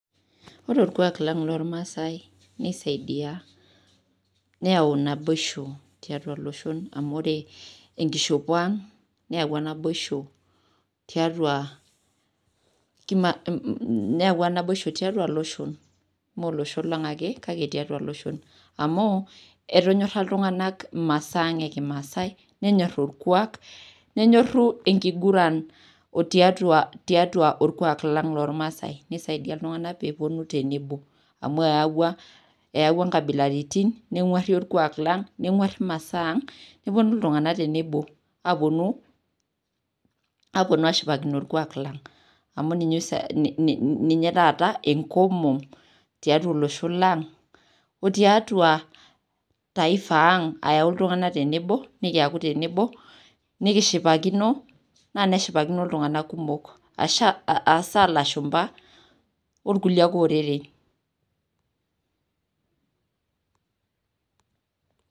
Ore olkuak lang' loolmaasai neisaidia, neyau naboishu tiatua iloshon amu ore enkishopo aang' neyauwa nabaoisho tiatua iloshon kumok, mee olosho lang' ake kake atua iloshon, amu etonyora iltung'anak imaasaa ang' e kimaasi nenyoru olkuak, nenyoru enkiguran tiatua olkuak lang llolmaasai, neisaidia iltung'ana pee epuonu tenebo, amu eyauwa inkabilaritin nengwari olkuak lang' negwari imasaang' nepuonu iltung'ana tenebo apuonu ashipakino olkuak lang' amuu ninye taata enkomom tiatua olosho lang' o tiatua taifaa aang' ayau iltung'ana tenebo nikiaku tenebo nikishipakino, anaa neshipakino iltung'ana kumok aishaa ilashumba o ilkulie ake oreren.